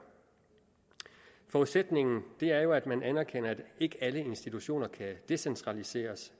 forudsætningen er jo at man anerkender at ikke alle institutioner kan decentraliseres